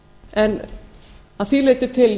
en að því leyti til